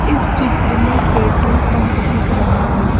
इस चित्र में पेट्रोल पंप दिख रहा है।